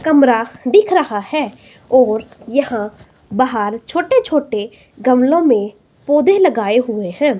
कमरा दिख रहा है और यहां बाहर छोटे छोटे गमले में पौधे लगाए हुए हैं।